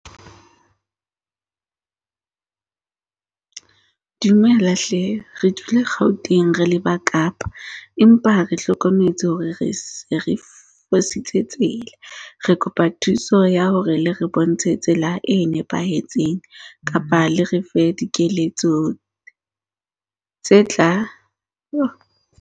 Dumela hle. Re dule Gauteng re leba Kapa. Empa re hlokometse hore re se re fositse tsela. Re kopa thuso ya hore le re bontshe tsela e nepahetseng kapa le re fe dikeletso tse tla .